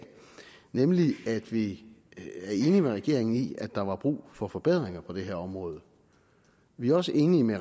nemlig at vi er enige med regeringen i at der var brug for forbedringer på det her område vi er også enige med